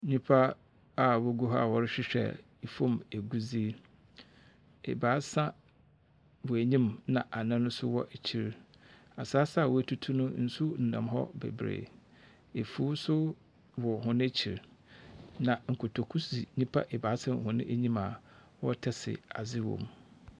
Nnipa a wogu ha a wɔrehwehwɛ fam agudie. Abasa wɔ anim, ɛna anan so wɔ akyire. Asase a wotutu no, nsu nam hɔ beberee. Afuw so wɔ wɔn akyi. Na kotoku sisi nnipa abaasa wɔn anim a wɔtase adze wom.